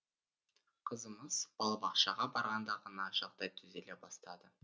қызымыз балабақшаға барғанда ғана жағдай түзеле бастады